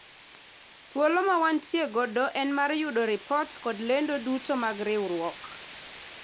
thuolo ma wantie godo en mar yudo ripot kod lendo duto mag riwruok